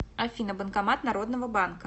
афина банкомат народного банка